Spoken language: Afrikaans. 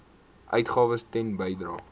uitgawes ten bedrae